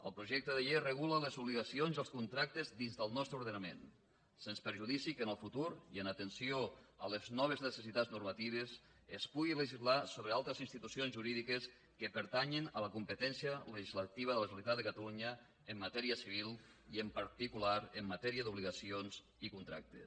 el projecte de llei regula les obligacions i els contractes dins del nostre ordenament sens perjudici que en el futur i en atenció a les noves necessitats normatives es pugui legislar sobre altres institucions jurídiques que pertanyen a la competència legislativa de la generalitat de catalunya en matèria civil i en particular en matèria d’obligacions i contractes